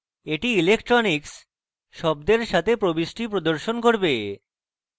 এটি electronics শব্দের সাথে প্রবিষ্টি প্রদর্শন করবে